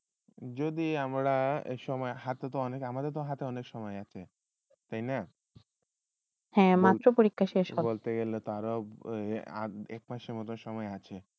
যদি আমরা এ আম্রাত হাতে অনেক সময় আসে সেই না এ মাত্র পরীক্ষা শেষ এক মাসে বোধহয় সময় আসে